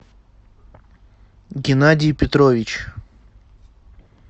геннадий петрович